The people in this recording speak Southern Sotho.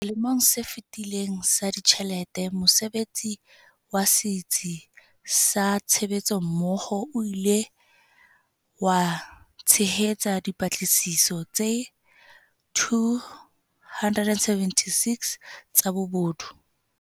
Selemong se fetileng sa ditjhelete, mosebetsi wa Setsi sa Tshebetsommoho o ile wa tshehetsa dipatlisiso tse 276 tsa bobodu.